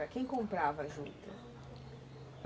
quem comprava juta?